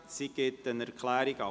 Sie gibt eine Erklärung ab.